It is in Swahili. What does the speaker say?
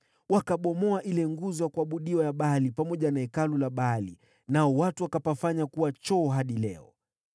Wakabomoa ile nguzo ya kuabudiwa ya Baali pamoja na hekalu la Baali, nao watu wakapafanya kuwa choo hadi leo.